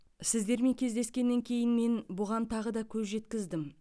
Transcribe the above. сіздермен кездескеннен кейін мен бұған тағы да көз жеткіздім